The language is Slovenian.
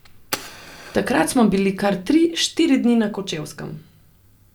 Takrat smo bili kar tri, štiri dni na Kočevskem.